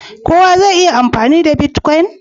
kowa za ya iya amfani da " Bitcoin"?